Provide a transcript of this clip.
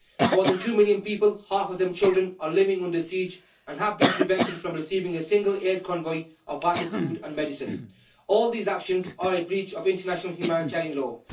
More than two million people, half of them children, are living under siege and have been prevented from receiving a single aid convoy of vital food and medicine. All these actions are a breach of international humanitarian law.